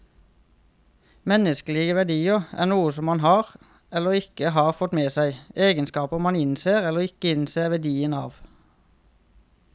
Menneskelige verdier er noe som man har, eller ikke har fått med seg, egenskaper man innser eller ikke innser verdien av.